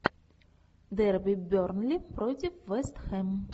дерби бернли против вест хэм